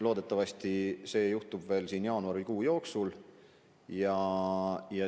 Loodetavasti see juhtub juba jaanuarikuu jooksul.